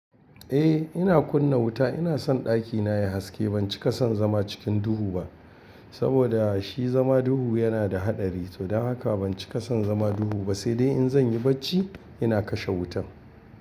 Eh ina kunna wuta, ina son ɗakina yayi haske. Ban cika son zama cikin duhu ba, saboda shi zama duhu yana da haɗari. To don haka ban cika son zama duhu ba, sai dai in zan yi bacci ina kashe wutan.